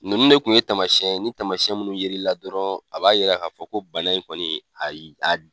Ninnu de kun ye tamasiyɛn ni tamasiyɛn munnu yera i la dɔrɔn a b'a yira i la k'a fɔ ko bana in kɔni ayi